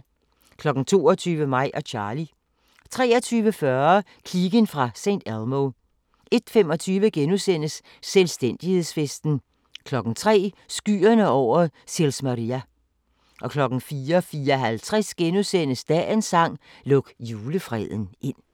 22:00: Mig og Charly 23:40: Kliken fra St. Elmo 01:25: Selvstændighedsfesten * 03:00: Skyerne over Sils Maria 04:54: Dagens sang: Luk julefreden ind *